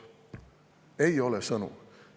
" Ei ole sõnu.